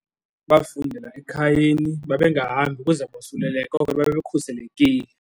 Bafundela ekhayeni babengahambi, ukuze bosuleleke ngoko babekhuselekile.